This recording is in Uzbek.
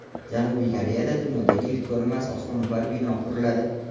Janubiy Koreyada dunyodagi ilk ko‘rinmas osmono‘par bino quriladi.